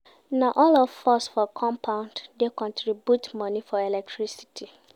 Na all of us for compound dey contribute moni for electricity.